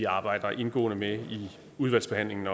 arbejde indgående med i udvalgsbehandlingen